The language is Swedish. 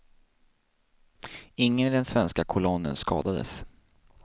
Ingen i den svenska kolonnen skadades.